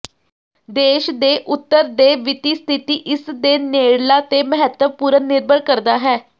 ਦੇਸ਼ ਦੇ ਉੱਤਰ ਦੇ ਵਿੱਤੀ ਸਥਿਤੀ ਇਸ ਦੇ ਨੇੜਲਾ ਤੇ ਮਹੱਤਵਪੂਰਨ ਨਿਰਭਰ ਕਰਦਾ ਹੈ